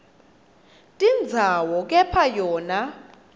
tindzawo kepha yona